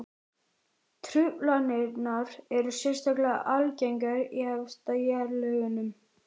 Truflanirnar eru sérstaklega algengar í efstu jarðlögunum.